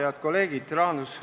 Head kolleegid!